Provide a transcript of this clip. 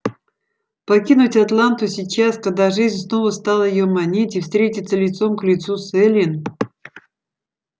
покинуть атланту сейчас когда жизнь снова стала её манить и встретиться лицом к лицу с эллин